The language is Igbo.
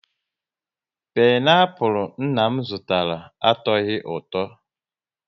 Pineapul nna m zụtara, atoghi ụtọ